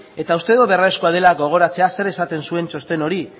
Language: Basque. eta uste dut beharrezkoa dela gogoratzea zer esaten zuen txosten hori